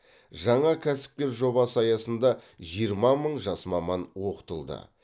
жаңа кәсіпкер жобасы аясында жиырма мың жас маман оқытылды